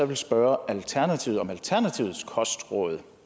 vil spørge alternativet om alternativets kostråd